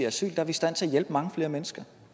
asyl er vi i stand til at hjælpe mange flere mennesker